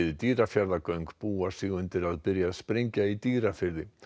Dýrafjarðargöng búa sig undir að byrja að sprengja í Dýrafirði